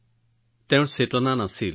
আৰু তেওঁৰ কোনো চেতনা নাছিল